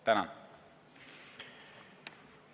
Tänan!